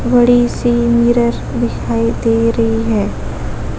बड़ी सी मिरर दिखाई दे रही है।